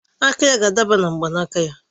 Aka ya ga-adaba na mgbanaka